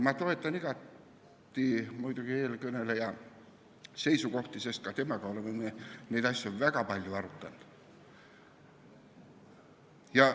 Ma toetan muidugi igati eelkõneleja seisukohti, sest ka temaga oleme me neid asju väga palju arutanud.